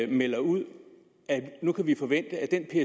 jo melder ud at vi nu kan forvente at den